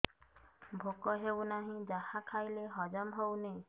ଭୋକ ହେଉନାହିଁ ଯାହା ଖାଇଲେ ହଜମ ହଉନି